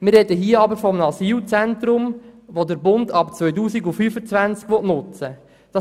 Wir sprechen hier aber von einem Asylzentrum, dass der Bund ab 2025 nutzen will.